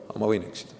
Aga ma võin eksida.